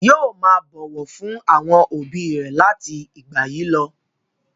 Yóò máa bọ̀wọ̀ fún àwọn òbí rẹ̀ láti ìgbà yìí lọ.